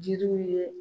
Jiriw ye